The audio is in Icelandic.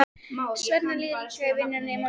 Svenna líður illa í vinnunni morguninn eftir.